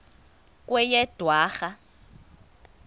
kweyedwarha